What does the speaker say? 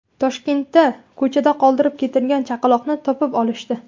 Toshkentda ko‘chada qoldirib ketilgan chaqaloqni topib olishdi.